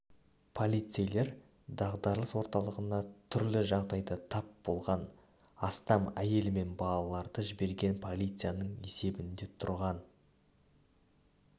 полицейлер дағдарыс орталығына түрлі жағдайға тап болған астам әйел мен балаларды жіберген полицияның есебінде тұрған